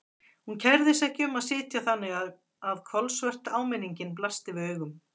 Hún kærði sig ekki um að sitja þannig að kolsvört áminningin blasti við augum.